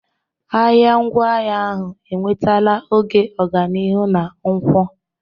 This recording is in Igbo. Ahịa ngwaahịa ahụ enwetala oge ọganihu na nkwụ.